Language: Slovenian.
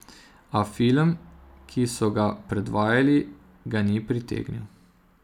A film, ki so ga predvajali, ga ni pritegnil.